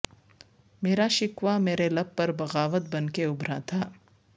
مرا شکوہ مرے لب پر بغاوت بن کے ابھرا تھا